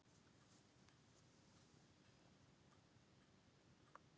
Nokkrir búa í útlandinu og eru útlenskir.